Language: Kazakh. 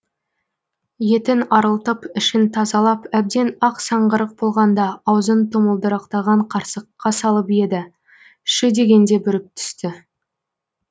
етін арылтып ішін тазалап әбден ақ саңғырық болғанда аузын тұмылдырықтаған қарсаққа салып еді шү дегенде бүріп түсті